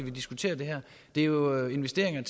vi diskuterer det her det er jo investeringer